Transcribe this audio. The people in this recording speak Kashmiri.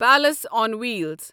palace on wheels